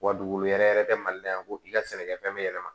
Wa dugukolo yɛrɛ yɛrɛ tɛ mali la yan ko i ka sɛnɛkɛ fɛn bɛ yɛlɛma